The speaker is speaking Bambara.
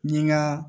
N ye n ka